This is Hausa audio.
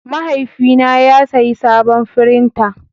Mahaifina ya sayi sabon firinta.